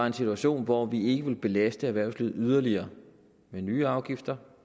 en situation hvor vi ikke ville belaste erhvervslivet yderligere med nye afgifter